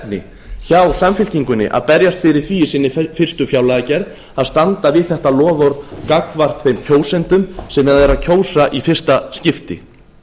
áhersluefni hjá samfylkingunni að berjast fyrir því í sinni fyrstu fjárlagagerð að standa við þetta loforð gagnvart þeim kjósendum sem eru að kjósa í fyrsta skipti